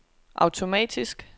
automatisk